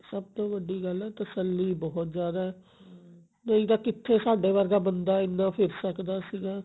ਸਬ ਤੋਂ ਵੱਡੀ ਗੱਲ ਹੈ ਤੱਸਲੀ ਬਹੁਤ ਜਿਆਦਾ ਹੈ ਨਹੀਂ ਤਾਂ ਕਿੱਥੇ ਸਾਡੇ ਵਰਗਾ ਬੰਦਾ ਇਹਨਾਂ ਫਿਰ ਸਕਦਾ ਸੀਗਾ